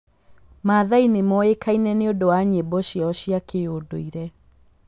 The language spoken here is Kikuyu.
Maathai nĩ moĩkaine nĩ ũndũ wa nyĩmbo ciao cia kĩndũire.